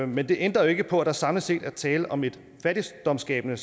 men det ændrer jo ikke på at der samlet set er tale om et fattigdomsskabende